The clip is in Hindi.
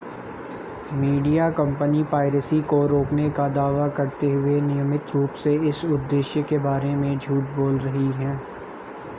मीडिया कंपनियां पायरेसी को रोकने का दावा करते हुए नियमित रूप से इस उद्देश्य के बारे में झूठ बोल रही हैं